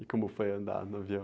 E como foi andar no avião?